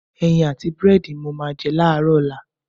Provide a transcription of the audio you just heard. Ẹyin àti búrẹ́dì ni màá jẹ láàárọ̀ ọ̀la.